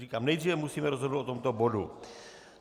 Říkám, nejdříve musíme rozhodnout o tomto bodu.